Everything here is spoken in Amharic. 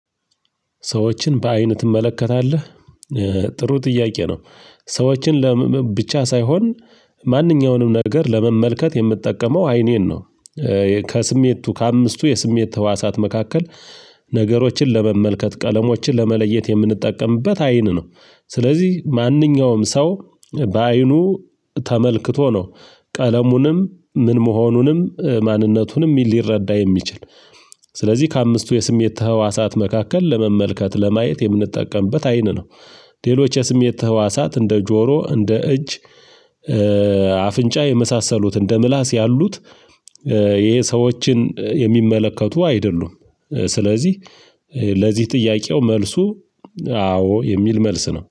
ሰዎችን በአይን ትመለከታለህ? ጥሩ ጥያቄ ነው ሰዎችን ለምን ብቻ ሳይሆን ማንኛውንም ነገር ለመመልከት የምጠቀመው አይኔን ነው ከስሜቱ ከአምስቱ የስሜት ህዋሳት መካከል ነገሮችን ለመመልከት ቀለሞችን ለመለየት የምንጠቀምበት አይን ነው ስለዚህ ማንኛውም ሰው በአይኑ ተመልክቶ ነው ቀለሙንም ምን መሆኑንም ማንነቱንም ሊረዳ የሚችል ስለዚህ ከአምስቱ የስሜት ተህዋሳት መካከል ለመመልከት ለማየት የምንጠቀምበት አይን ነው ሌሎች የስሜት ተህዋሳት እንደ ጆሮ እንደ እጅ አፍንጫ የመሳሰሉት እንደ ምላስ ያሉት ይሄ ሰዎችን የሚመለከቱ አይደሉም ስለዚህ ለዚህ ጥያቄው መልሱ አዎ የሚል መልስ ነው